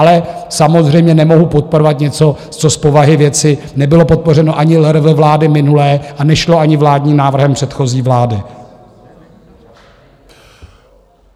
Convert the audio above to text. Ale samozřejmě nemohu podporovat něco, co z povahy věci nebylo podpořeno ani LRV vlády minulé a nešlo ani vládním návrhem předchozí vlády.